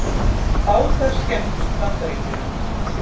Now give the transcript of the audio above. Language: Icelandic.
Bátar skemmdust í Bandaríkjunum